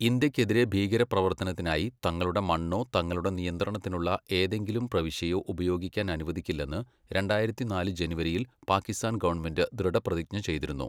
ഇന്ത്യയ്ക്കെതിരെ ഭീകരപ്രവർത്തനത്തിനായി തങ്ങളുടെ മണ്ണോ, തങ്ങളുടെ നിയന്ത്രണത്തിലുള്ള ഏതെങ്കിലും പ്രവിശ്യയോ ഉപയോഗിക്കാൻ അനുവദിക്കില്ലെന്ന് രണ്ടായിരത്തിനാല് ജനുവരിയിൽ പാകിസ്ഥാൻ ഗവണ്മെന്റ് ദൃഢപ്രതിജ്ഞ ചെയ്തിരുന്നു.